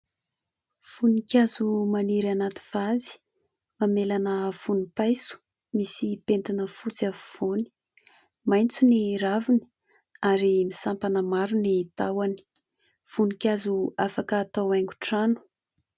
Voninkazo maniry anaty vazy : mamelana vonimpaiso, misy pentina fotsy afovoany, maitso ny raviny ary misampana maro ny tahony ; voninkazo afaka atao haingon-trano.